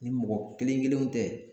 Ni mɔgɔ kelen kelenw tɛ